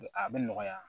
A bɛ nɔgɔya